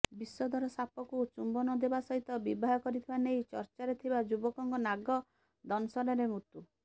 ବିଷଧର ସାପକୁ ଚୁମ୍ବନ ଦେବା ସହିତ ବିବାହ କରିଥିବା ନେଇ ଚର୍ଚ୍ଚାରେ ଥିବା ଯୁବକଙ୍କ ନାଗ ଦଶଂନରେ ମୃତ୍ୟୁ